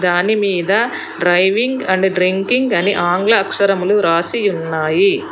దానిమీద driving and drinking అని ఆంగ్ల అక్షరములు రాసి ఉన్నాయి.